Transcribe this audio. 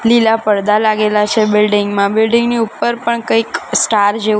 લીલા પરદા લાગેલા છે બિલ્ડીંગ મા બિલ્ડીંગ ની ઉપર પણ કઈક સ્ટાર જેવુ--